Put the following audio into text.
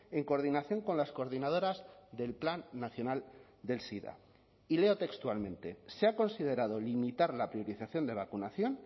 en coordinación con las coordinadoras del plan nacional del sida y leo textualmente se ha considerado limitar la priorización de vacunación